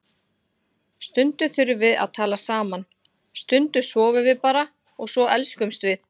Stundum þurfum við að tala saman, stundum sofum við bara og svo elskumst við.